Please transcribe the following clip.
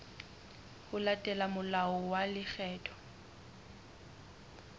ho latela molao wa lekgetho